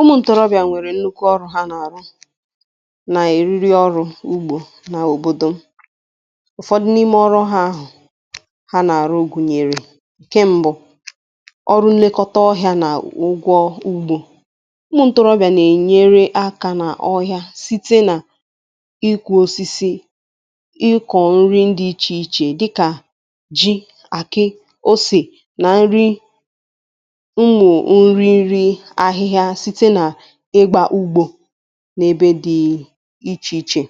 Ụmụ ǹtórọbịà nwèrè nnukwu ọrụ ha nà-àrụ nà èriri ọrụ̇ ọrụ ugbȯ n' òbòdò m, ụ̀fọdụ n’ime ọrụ ha ahụ̀ ha nà-àrụ gụ̀nyèrè. Nke mbụ, ọrụ nlekọta ọhịȧ na ụgwọ ugbo. Ụmụ̇ ǹtọ̀rọbịà nà-ènyere akȧ n’ọhịȧ site nà ịkụ̇osisi, ịkọ̀ nri ndị ichè ichè dịkà ji, àkị́, ose nà nri ụmụ nrinri ahịhịa site na ịgba ugbo n’ebe dịị ichè ichè.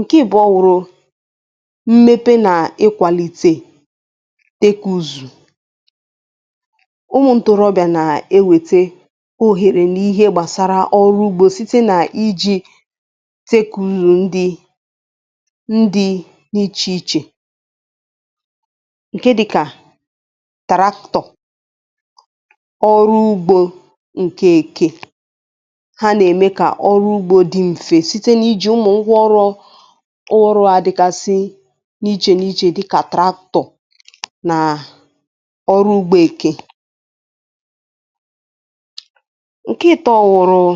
Nke ị̀bụ̀ọ wụ̀rụ̀ mmepe nà ị kwàlite tekúzù. Ụmụ̀ ntòrobị̀à nà-ewètè òhèrè n'ihe gbàsara ọrụ ugbȯ site n'iji̇ tekùzù ndị ndị n’ịchè ịchè ǹke dịkà taraktọ ọrụ ugbo nke ke ha nà-ème kà ọrụ ugbȯ dị mfe site n’iji̇ụmụ̀ ngwaọrụ ọ ngwaọrụ à dịgasị n’ichè n’ichè dịkà tractor nà ọrụ ugbȯ èké. Nke ịtọ wụrụ́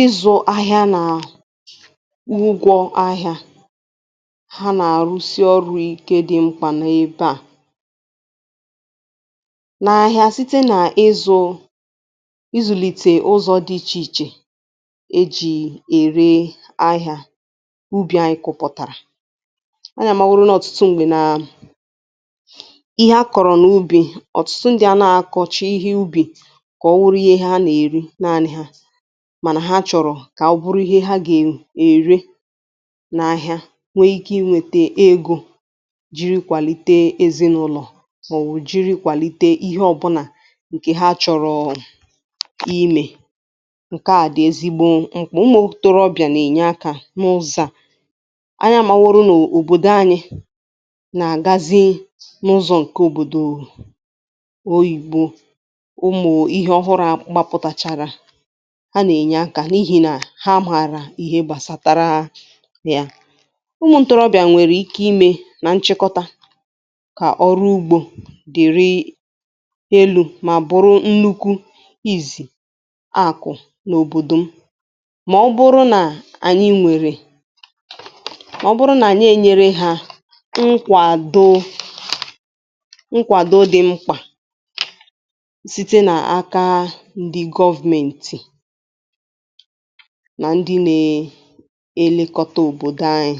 ịzụ̇ahịa nà ugwọ ahịȧ. Ha nà-àrụsị ọrụ̇ ike dị mkpà n’ebe à n'ahịa site n'ịzụ́, ịzùlìtè ụzọ̇dị ichè ichè ejì èré ahịȧ ubì anyị kụpụ̀tàrà. Ányị̀ amàworo na ọ̀tụtụ m̀gbè nàà ihe a kọ̀rọ̀ n’ubì, ọ̀tụtụ ndị ànaghị akọcha ihe ubì kà ọ wụrụ ihe ha nà-èri naanị ha mànà ha chọ̀rọ̀ kà ọ bụrụ ihe ha gà-èri n’ahịa nwee ike inwete ego jiri kwàlite ezinụlọ̀ màọwụ̀ jiri kwàlite ihe ọ̀bụ̀nà ǹkè ha chọ̀rọọ̀ imė. Nkè a dị̀ ezigbo m̀kpà. Ụmụ̇ ntorobịà nà-ènye akȧ n’ụzọ à. Anyị amaworó n'òbòdò anyị nà-àgazi n’ụzọ̇ ǹkè òbòdò oyìbo, ụmụ ihe ọhụrụ̇ a gbapụ̀tàchàrà, ha nà-ènye akȧ n’ihì nà ha màrà ihe gbàsatara ya. Ụmụ̇ ntorobịà nwèrè ike imė nà nchịkọta kà ọrụ ugbȯ dịrị elu mà bụrụ nnukwu izì akụ̀ n’òbòdò m mà ọ bụrụ nà ànyị nwèrè, mà ọ bụrụ nà ànyị ènyere hȧ nkwàdo nkwàdo dị̇ mkpà site n'aka ndị government nà ndị na-elekọta òbòdo anyị.